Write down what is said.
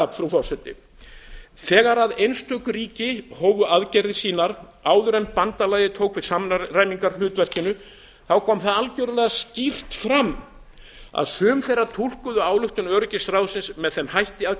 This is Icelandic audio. það frú forseti að þegar einstök ríki hófu aðgerðir sínar áður en bandalagið tók við samræmingarhlutverkinu kom algjörlega skýrt fram að sum þeirra túlkuðu ályktun öryggisráðsins með þeim hætti að